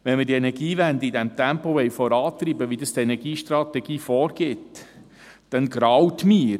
Wenn wir die Energiewende in dem Tempo vorantreiben wollen, wie das die Energiestrategie vorgibt, dann graut mir.